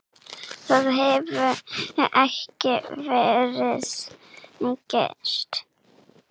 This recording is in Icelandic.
Það hefur ekki verið gert.